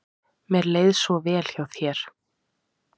Mér leið svo vel hjá þér.